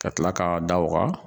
Ka tila k'a da waga.